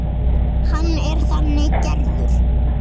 Hann er þannig gerður.